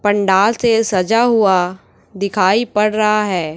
पंडाल से सजा हुआ दिखाई पड़ रहा है।